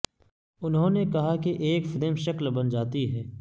انہوں نے کہا کہ ایک فریم شکل بن جاتی ہے